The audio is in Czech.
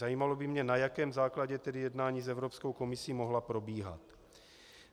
Zajímalo by mě, na jakém základě tedy jednání s Evropskou komisí mohla probíhat.